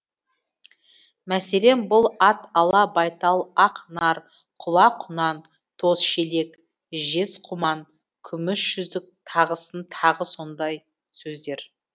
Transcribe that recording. мәселен бұл ат ала байтал ақ нар құла құнан тоз шелек жез құман күміс жүзік тағысын тағы сондай сөздер